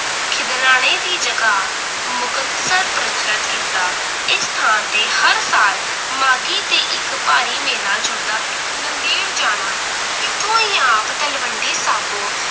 ਖਿਦਰਾਣੇ ਦੀ ਜਗਾਹ ਮੁਕਤਸਰ ਪ੍ਰਚਲਿਤ ਕੀਤਾ ਇਸ ਸਥਾਨ ਤੇ ਹੈ ਸਾਲ ਮਾਘੀ ਤੇ ਇਕ ਭਾਰੀ ਮੇਲਾ ਜੁੜਦਾ ਹੈ ਨੰਦੇੜ ਜਾਣਾ ਇਥੋਂ ਹੀ ਆਪ ਤਲਵੰਡੀ ਬਾਜੋਂ